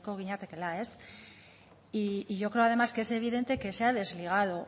ginatekeela y yo creo además que es evidente que se ha desligado